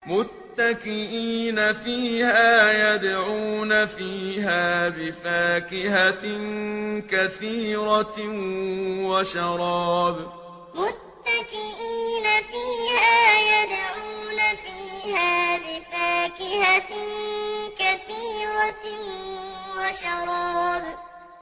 مُتَّكِئِينَ فِيهَا يَدْعُونَ فِيهَا بِفَاكِهَةٍ كَثِيرَةٍ وَشَرَابٍ مُتَّكِئِينَ فِيهَا يَدْعُونَ فِيهَا بِفَاكِهَةٍ كَثِيرَةٍ وَشَرَابٍ